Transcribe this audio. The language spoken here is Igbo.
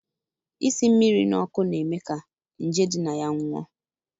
Isi mmiri na ọkụ na-eme ka nje di na ya nwụọ